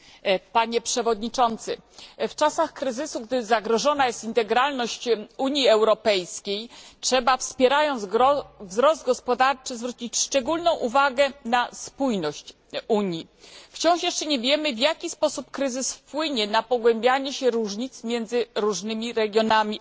W czasach kryzysu, gdy zagrożona jest integralność Unii Europejskiej, trzeba, wspierając wzrost gospodarczy, zwrócić szczególną uwagę na spójność Unii. Wciąż jeszcze nie wiemy, w jaki sposób kryzys wpłynie na pogłębianie się różnic między różnymi regionami Europy.